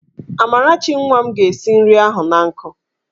Amarachi nwa m ga-esi nri ahụ an nkụ.